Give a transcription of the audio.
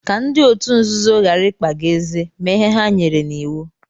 Ka ndị otu nzuzo ghara ịkpa gị ézé, mee ihe ha nyere n'iwu.